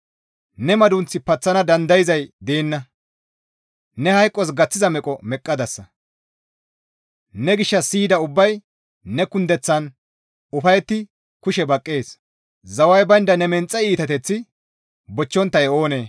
Ne madunth paththana dandayzay deenna; neni hayqos gaththiza meqo meqqadasa; ne gishshas siyida ubbay ne kundeththaan ufayetti kushe baqqana; zaway baynda ne menxe iitateththi bochchonttay oonee?